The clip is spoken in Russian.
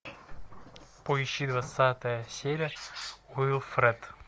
поищи двадцатая серия уилфред